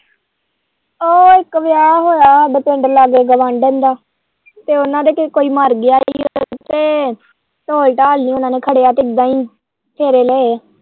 ਉਹ ਇੱਕ ਵਿਆਹ ਹੋਇਆ ਹਾਡੇ ਪਿੰਡ ਲਾਂਗੇ ਗਵਾਂਢਣ ਦਾ ਤੇ ਉਹਨੇ ਦੇ ਕੋਈ ਮਰ ਗਿਆ ਹੀ ਤੇ ਢੋਲ-ਢਾਲ ਨੀ ਉਹਨਾਂ ਨੇ ਖੜ੍ਹਿਆ ਤੇ ਇੱਦਾ ਹੀ ਫੇਰੇ ਲਏ।